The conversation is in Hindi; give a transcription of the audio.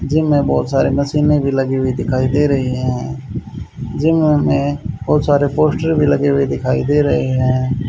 जिम में बहुत सारे मशीनें भी लगी हुई दिखाई दे रही हैं जिम में बहुत सारे पोस्टर भी लगे हुए दिखाई दे रहे हैं।